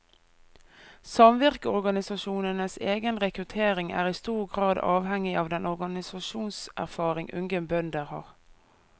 Samvirkeorganisasjonenes egen rekruttering er i stor grad avhengig av den organisasjonserfaring unge bønder har.